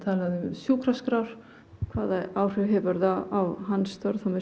sjúkraskrár hvaða áhrif hefur það á hans störf með